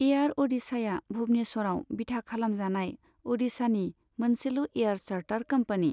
Air अ'डिशाया भुबनेश्वरआव बिथा खालामजानाय अ'डिशानि मोनसेल' एयार चार्टार कम्पानि।